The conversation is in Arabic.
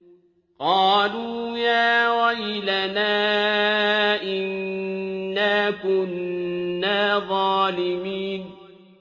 قَالُوا يَا وَيْلَنَا إِنَّا كُنَّا ظَالِمِينَ